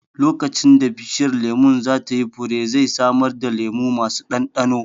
Lokacin da bishiyar lemun za ta yi fure, zai samar da lemu masu ɗanɗano